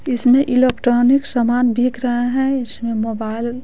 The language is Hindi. इसमें इलेक्ट्रॉनिक सामान बिक रहा है इसमें मोबाइल --